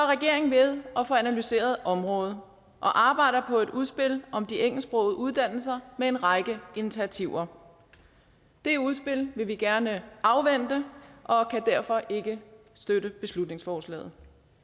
regeringen ved at få analyseret området og arbejder på et udspil om de engelsksprogede uddannelser med en række initiativer det udspil vil vi gerne afvente og kan derfor ikke støtte beslutningsforslaget